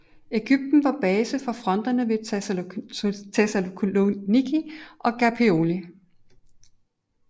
Egypten var base for fronterne ved Thessaloniki og Gallipoli